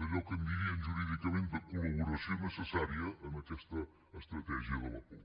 d’allò que en diríem jurídicament de col·laboració necessària en aquesta estratègia de la por